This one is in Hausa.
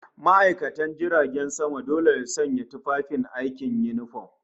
ma'aikatan jiragen sama dole su sanya tufafin aiki, yunifom